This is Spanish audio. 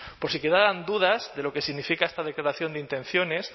por si quedaban dudas de lo que significa esta declaración de intenciones